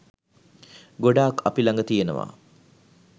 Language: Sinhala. ගොඩාක් අපි ළඟ තියෙනවා.